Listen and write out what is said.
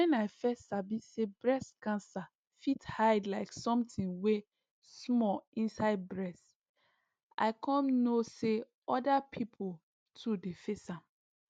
when i fess sabi say breast cancer fit hide like somtin wey small inside bress i com no say oda pipo too dey face am